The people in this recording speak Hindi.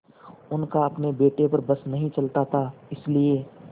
उनका अपने बेटे पर बस नहीं चलता था इसीलिए